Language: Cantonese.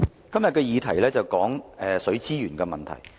今天的議題有關水資源問題。